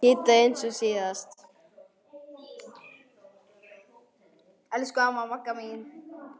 Kidda eins og síðast.